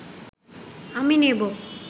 আমি নেবো